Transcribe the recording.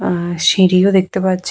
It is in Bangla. আহ সিঁড়ি ও দেখতে পাচ্ছি।